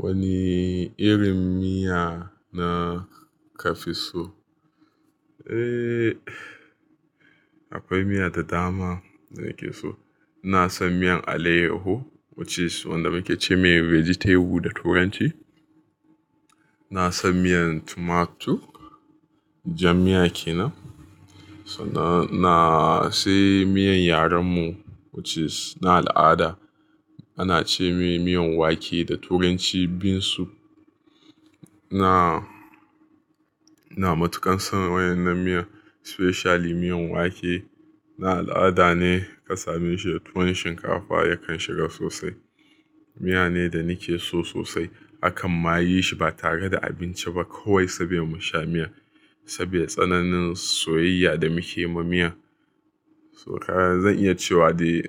Wani irin miya na ka fi so? Eh, akwai miya da dama da nake so. Ina son miyan alaiyahu, wacce su wanda muke ce mai vegetable da turanci. Ina son miyan tomato, jan miya ke nan. Sannan sai miyan yaren mu, wacce suna al'ada ana ce mai miyan wake da turanci bean soup. Ina, ina matuƙan son wannan miya especially miyan wake. Na al'ada ne ka same shi da tuwon shinkafa yakan shiga sosai. Miya ne da nake so sosai. Akan ma yi shi ba tare da abinci ba, kawai saboda mu sha miyar saboda tsananin soyayya da muke ma miyar. To ka zan iya cewa dai,